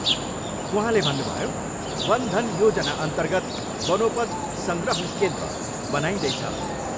उहाँले भन्नुभयो, वन धन योजना अन्तर्गत बनोपज सङ्ग्रहण केन्द्र बनाइँदैछ।